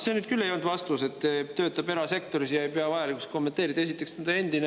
See, et töötab erasektoris ja ei pea vajalikuks kommenteerida, ei olnud nüüd küll vastus.